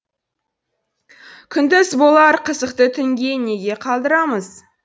күндіз болар қызықты түнге неге қалдырамыз